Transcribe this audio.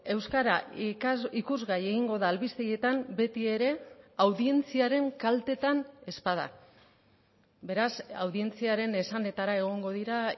euskara ikusgai egingo da albistegietan betiere audientziaren kaltetan ez bada beraz audientziaren esanetara egongo dira